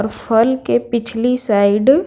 और फल के पिछली साइड --